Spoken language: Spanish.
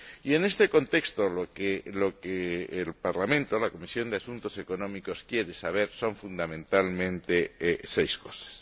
En este contexto, lo que el Parlamento y la Comisión de Asuntos Económicos quieren saber son fundamentalmente seis cosas.